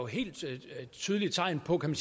helt tydelige tegn på kan